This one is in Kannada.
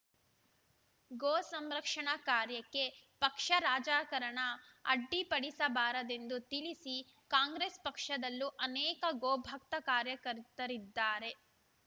ಗೋ ಸಂರಕ್ಷಣಾ ಕಾರ್ಯಕ್ಕೆ ಪಕ್ಷ ರಾಜಕಾರಣ ಅಡ್ಡಿಪಡಿಸಬಾರದೆಂದು ತಿಳಿಸಿ ಕಾಂಗ್ರೆಸ್‌ ಪಕ್ಷದಲ್ಲೂ ಅನೇಕ ಗೋ ಭಕ್ತ ಕಾರ್ಯಕರ್ತರಿದ್ದಾರೆ